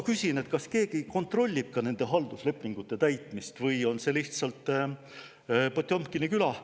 Küsin, kas keegi kontrollib ka nende halduslepingute täitmist või on see lihtsalt Potjomkini küla.